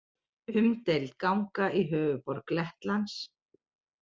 Umdeild ganga í höfuðborg Lettlands